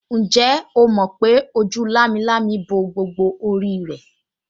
Ǹjẹ́ o mọ̀ pé ojú lámilámi bo gbogbo orí rẹ̀